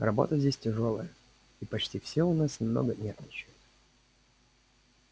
работа здесь тяжёлая и почти все у нас немного нервничают